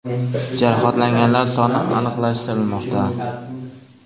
Jarohatlanganlar soni aniqlashtirilmoqda.